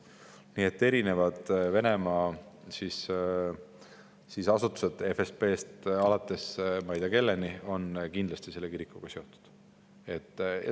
Nii et erinevad Venemaa asutused FSB-st alates ma ei tea kelleni on kindlasti selle kirikuga seotud.